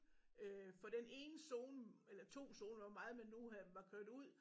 Øh for den ene zone eller 2 zoner hvor meget man nu øh var kørt ud